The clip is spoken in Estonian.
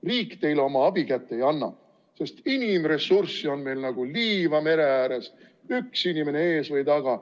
Riik teile abikätt ei anna, sest inimressurssi on meil nagu liiva mere ääres, üks inimene ees või taga.